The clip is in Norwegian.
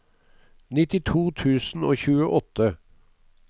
nittito tusen og tjueåtte